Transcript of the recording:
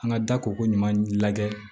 An ka da ko ko ɲuman lajɛ